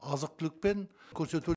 азық түлікпен көрсету